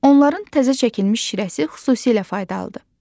Onların təzə çəkilmiş şirəsi xüsusilə faydalıdır.